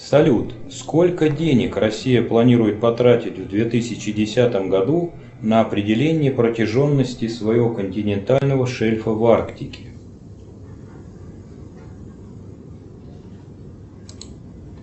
салют сколько денег россия планирует потратить в две тысячи десятом году на определение протяженности своего континентального шельфа в арктике